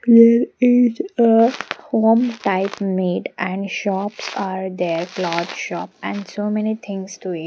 There is a home type made and shops are there cloth shop and so many things to it --